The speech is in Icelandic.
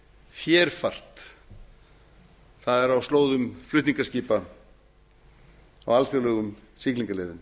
fjärfart það er á slóðum flutningaskipa á alþjóðlegum siglingaleiðum